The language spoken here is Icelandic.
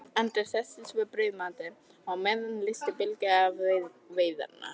Andri settist við brauðmatinn og á meðan leysti Bylgja af við veiðarnar.